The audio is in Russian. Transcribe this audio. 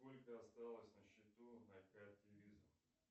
сколько осталось на счету на карте виза